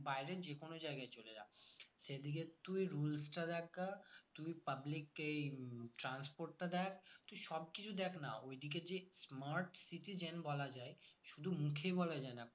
বাইরে যে কোনো জায়গায় চলে যা সেদিকের তুই rules টা দেখ গিয়ে তুই public কে উম transport টা দেখ তুই সব কিছু দেখনা ওইদিকে যে smart city বলা যায় শুধু মুখে বলা যায় না